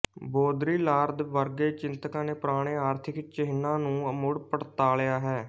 Baudrillard ਵਰਗੇ ਚਿੰਤਕਾਂ ਨੇ ਪੁਰਾਣੇ ਆਰਥਿਕ ਚਿਹਨਾਂ ਨੂੰ ਮੁੜ ਪੜਤਾਲਿਆ ਹੈ